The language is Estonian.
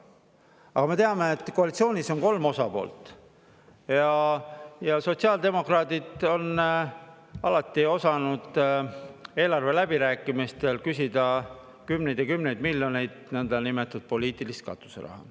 Aga me teame, et koalitsioonis on kolm osapoolt ja sotsiaaldemokraadid on alati osanud eelarveläbirääkimistel küsida kümneid ja kümneid miljoneid nõndanimetatud poliitilist katuseraha.